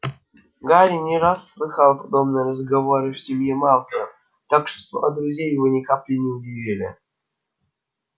гарри не раз слыхал подобные разговоры в семье малфоев так что слова друзей его ни капли не удивили